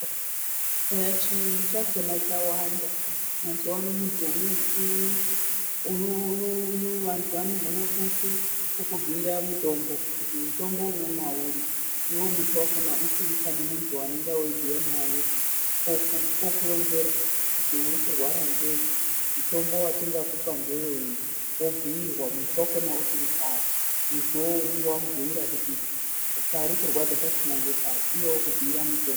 Chiyungu chakona chawanda mazuva ano muntu, vantu vanokona kukubhuira mutombo kuti mutombo unomwa uri iwe muntu wakona usiri pane muntu waunenge weibhuya naye okuronzera kuti urikurwara ngei mutombo watingakupa ngeweyi wobhuyirwa muntu wacho usipo pari muntuwo unenge wamubhuira kuti pari kurwadza pachona ngepari iye okumbuira mutombo.